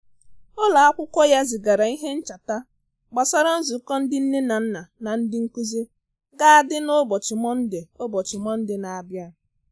Ụlọ akwụkwọ ya zigara ihe ncheta gbasara nzukọ ndị nne na nna na ndị nkụzi ga adị na ụbọchị Mọnde ụbọchị Mọnde na-abia